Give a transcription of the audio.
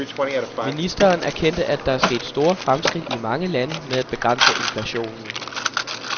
Ministeren erkendte, at der er sket store fremskridt i mange lande med at begrænse inflationen.